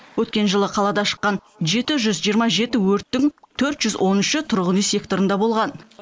өткен жылы қалада шыққан жеті жүз жиырма жеті өрттің төрт жүз он үші тұрғын үй секторында болған